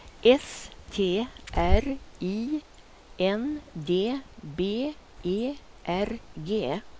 S T R I N D B E R G